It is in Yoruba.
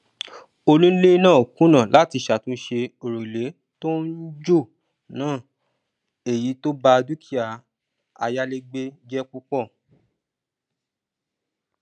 onílé náà kùnà láti ṣàtúnṣe òrùlé tó ń jò náà èyí tó bá dúkìá ayálégbé jẹ púpọ